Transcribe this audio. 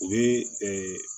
O ye